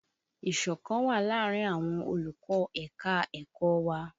Ìṣọ̀kan wà láàárín àwọn olùkọ́ ẹ̀ka-ẹ̀kọ́ wa